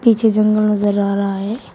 पीछे जंगल नजर आ रहा है।